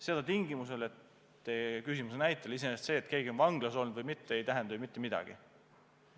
Teie küsimuses kõlanud näitel iseenesest see, et keegi on vanglas olnud, ei tähenda ju panga seisukohalt mitte midagi.